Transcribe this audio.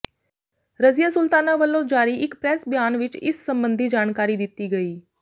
ਰਜ਼ੀਆ ਸੁਲਤਾਨਾ ਵੱਲੋਂ ਜਾਰੀ ਇੱਕ ਪ੍ਰੈਸ ਬਿਆਨ ਵਿੱਚ ਇਸ ਸਬੰਧੀ ਜਾਣਕਾਰੀ ਦਿੱਤੀ ਗਈ